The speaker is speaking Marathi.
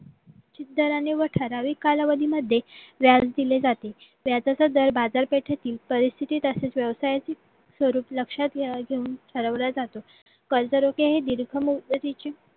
दराने व ठराविक कालावधीमध्ये व्याज दिले जाते व्याजा सदर बाजारपेठेतील परिस्थितीत असलेल्या व्यवसायाची स्वरूप लक्षात घेऊन ठरवल्या जातात कर्जरोखे ही दीर्घ मुद्दे तिची